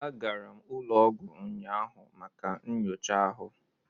Agara m ụlọ ọgwụ ụnyaahụ maka nyocha ahụ